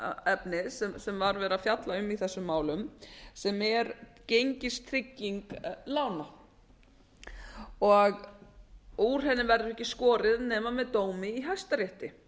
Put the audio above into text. þau álitaefni sem var verið að fjalla um í þessum málum sem er gengistrygging lána og úr henni verður ekki skorið nema með dómi í hæstarétti